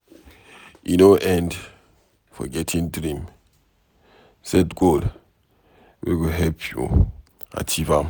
E no end for getting dream, set goal wey go help you achieve am.